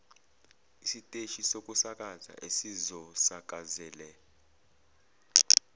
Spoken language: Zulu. isiteshi sokusakaza esizosakazela